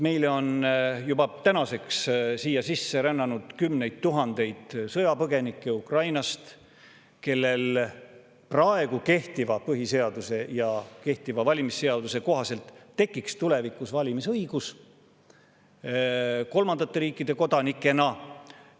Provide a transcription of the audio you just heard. Meile on juba sisse rännanud kümneid tuhandeid sõjapõgenikke Ukrainast, kellel kehtiva põhiseaduse ja kehtiva valimisseaduse kohaselt tekiks kolmandate riikide kodanikena tulevikus valimisõigus.